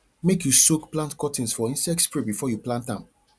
make you soak plant cuttings for insect spray before you plant am